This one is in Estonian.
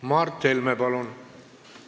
Mart Helme, palun!